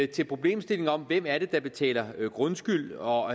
til problemstillingen om hvem det er der betaler grundskyld og